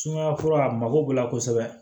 Sumaya fura a mago b'u la kosɛbɛ